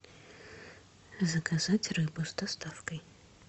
заказать рыбу с доставкой